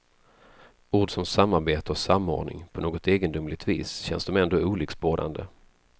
Ord som samarbete och samordning, på något egendomligt vis känns de ändå olycksbådande.